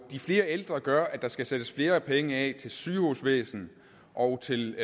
og de flere ældre gør at der skal sættes flere penge af til sygehusvæsen og til